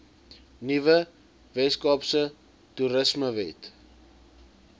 nuwe weskaapse toerismewet